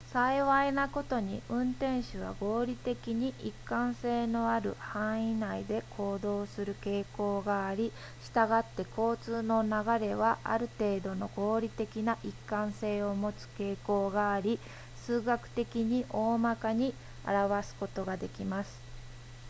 幸いなことに運転手は合理的に一貫性のある範囲内で行動する傾向がありしたがって交通の流れはある程度の合理的な一貫性を持つ傾向があり数学的に大まかに表すことができます